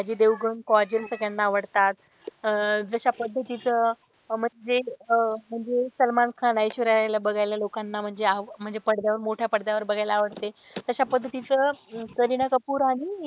अजय देवगण काजल सगळ्यांना आवडतात. अह जशा पद्धतीचं म्हणजे अह म्हणजे सलमान खान ऐश्वर्या रॉय ला बघायला लोकांना म्हणजे म्हणजे मोठ्या पडद्यावर बघायला आवडते तशा पद्धतीचं करीना कपूर आणि,